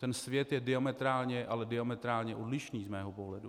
Ten svět je diametrálně, ale diametrálně odlišný z mého pohledu.